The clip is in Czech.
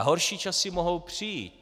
A horší časy mohou přijít.